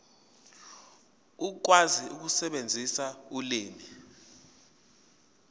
ukwazi ukusebenzisa ulimi